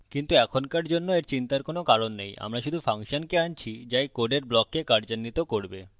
কিন্তু এখনকার জন্য এর চিন্তার কারণ নেই আমরা শুধু ফাংশনকে আনছি যা এই code ব্লককে কার্যান্বিত করবে